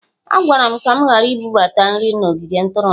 A gwara m ka m ghara ibubata nri n'ogige ntụrụndụ